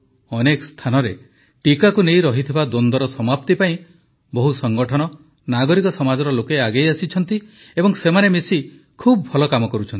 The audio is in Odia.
ଅନେକ ସ୍ଥାନରେ ଟିକାକୁ ନେଇ ରହିଥିବା ଦ୍ୱନ୍ଦ୍ୱର ସମାପ୍ତି ପାଇଁ ଅନେକ ସଂଗଠନ ନାଗରିକ ସମାଜର ଲୋକେ ଆଗେଇ ଆସିଛନ୍ତି ଏବଂ ସେମାନେ ମିଶି ଖୁବ ଭଲ କାମ କରୁଛନ୍ତି